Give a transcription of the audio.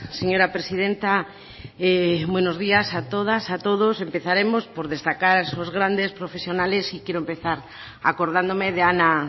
señora presidenta buenos días a todas a todos empezaremos por destacar esos grandes profesionales y quiero empezar acordándome de ana